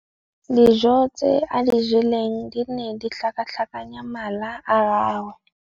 Dijô tse a di jeleng di ne di tlhakatlhakanya mala a gagwe.